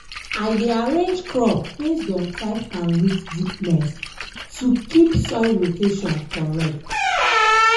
i dey arrange crop based on type and root deepness to keep soil rotation correct.